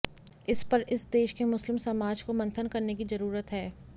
इस पर इस देश के मुस्लिम समाज को मंथन करने की जरूरत है